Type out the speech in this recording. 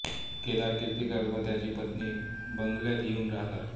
केदार किर्तीकर व त्याची पत्नी बंगल्यात येऊन राहतात